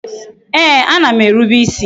Ee, a na m erube isi